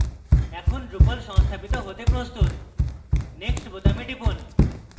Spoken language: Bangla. এখন drupal সংস্থাপিত হতে প্রস্তুত next বোতামে টিপুন